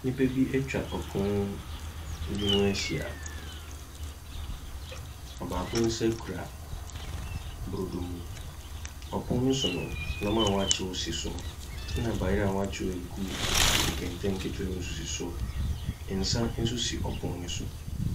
Nipa bi etwa ɔpon bi ho ehyia. Ɔbaako nsa kura brodo mu. Ɔpon no so no neɔma w'akyew si so nna bayer a w'akyew egu nkenten ketoa mo so si hɔ. Nsa nso si ɔpon ne so.